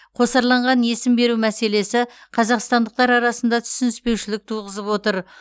қосарланған есім беру мәселесі қазақстандықтар арасында түсініспеушілік туғызып отыр